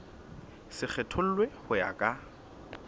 se kgethollwe ho ya ka